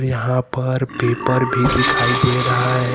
यहां पर पेपर भी दिखाई दे रहा है।